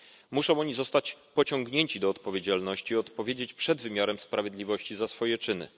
Muszą oni zostać pociągnięci do odpowiedzialności i odpowiedzieć przed wymiarem sprawiedliwości za swoje czyny.